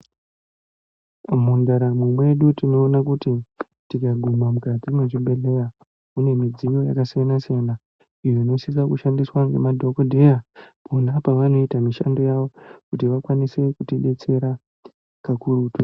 Mundaramo mwedu tinoona kuti tikaguma mukati mwechibhehleya mune midziyo yakasiyanasiyana iyo inosisa kushandiswa ngemadhokodheya pona pavanoita mishando yavo kuti vakwanise kuti detsera kakurutu.